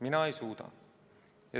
Mina ei suuda.